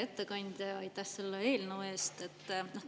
Hea ettekandja, aitäh selle eelnõu eest!